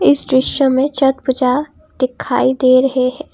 इस दृश्य में छठ पूजा दिखाई दे रहे हैं।